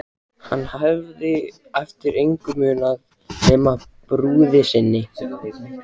Hann hafði eftir engu munað nema brúði sinni.